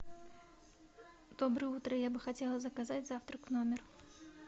доброе утро я бы хотела заказать завтрак в номер